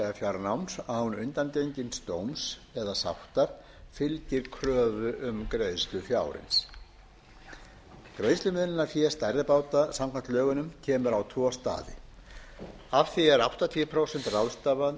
fjárnáms án undangengins dóms eða sáttar fylgir kröfu um greiðslu fjárins greiðslumiðlunarfé stærri báta samkvæmt lögunum kemur á tvo staði af því er áttatíu prósent ráðstafað